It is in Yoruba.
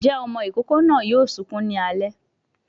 Ǹjẹ́ ọmọ ìkókó náà yóò sunkún ní alẹ́.